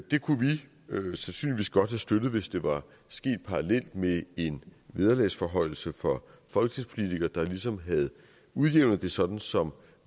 det kunne vi sandsynligvis godt have støttet hvis det var sket parallelt med en vederlagsforhøjelse for folketingspolitikere der ligesom havde udjævnet det sådan som